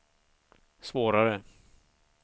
svårare